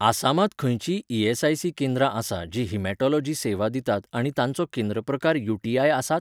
आसामांत खंयचींय ईएसआयसी केंद्रां आसा जीं Haematology सेवा दितात आनी तांचो केंद्र प्रकार यूटीआय आसात?